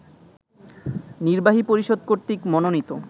নির্বাহী পরিষদ কর্তৃক মনোনীত